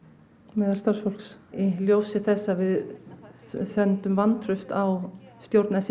meðal starfsfólks í ljósi þess að við sendum vantraust á stjórn